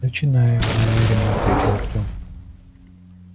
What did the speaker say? начинаю неуверенно ответил артём